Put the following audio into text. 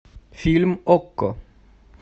фильм окко